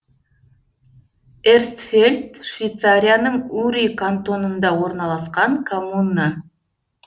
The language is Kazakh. эрстфельд швейцарияның ури кантонында орналасқан коммуна